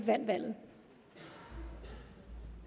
det